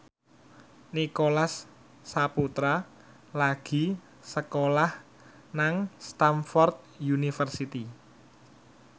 Nicholas Saputra lagi sekolah nang Stamford University